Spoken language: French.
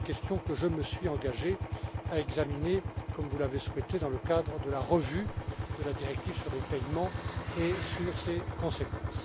C'est une question que je me suis engagé à examiner, comme vous l'avez souhaité, dans le cadre de la révision de la directive sur les paiements et sur ses conséquences.